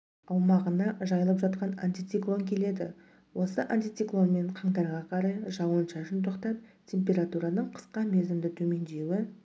аумағына жайылып жатқан антициклон келеді осы антициклонмен қаңтарға қарай жауын-шашын тоқтап температураның қысқа мерзімді төмендеуі